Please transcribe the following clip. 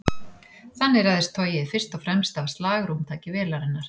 Þannig ræðst togið fyrst og fremst af slagrúmtaki vélarinnar.